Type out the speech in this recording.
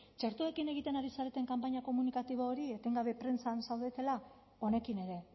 txertoekin egiten ari zareten kanpaina komunikatibo hori etengabe prentsan zaudetela honekin ere